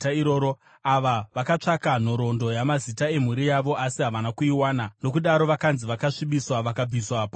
Ava vakatsvaka nhoroondo yamazita emhuri yavo, asi havana kuiwana, nokudaro vakanzi vakasvibiswa vakabviswa pauprista.